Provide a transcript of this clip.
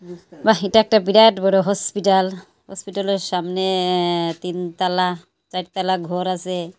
বাহ এটা একটা বিরাট বড় হসপিটাল হসপিটালের সামনে এ্যাঁ তিন তালা চার তালা ঘর আছে।